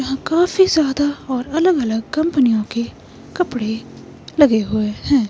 हांकाफी ज्यादा और अलग-अलग कंपनियों के कपड़े लगे हुए हैं।